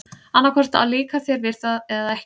Annað hvort líkar þér við það eða ekki.